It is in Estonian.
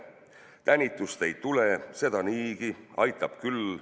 Tänitust ei tule – seda niigi, aitab küll.